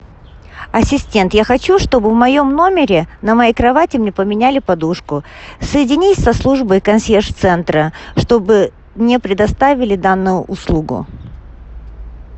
ассистент я хочу чтобы в моем номере на моей кровати мне поменяли подушку соедини со службой консьерж центра чтобы мне предоставили данную услугу